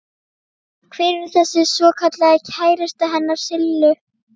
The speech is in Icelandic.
Hver er þessi svokallaði kærasti hennar Sillu?